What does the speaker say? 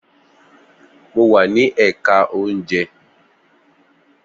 Mo wà ní èka oúnjẹ